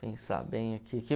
pensar bem aqui